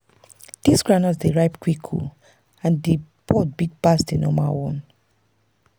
this groundnut dey ripe quick and the pod big pass the normal one.